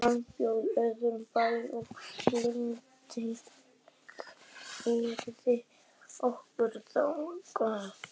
Hann bjó í öðrum bæ og Linda keyrði okkur þangað.